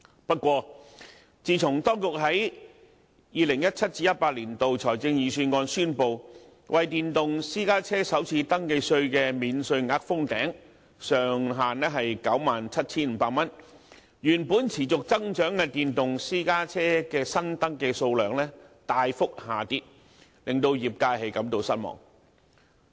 不過，自從當局在 2017-2018 年度財政預算案宣布為電動私家車首次登記稅的免稅額封頂，設定上限於 97,500 元，原本持續增長的電動私家車的新登記數量大幅下跌，令業界感到失望。